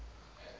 didn t need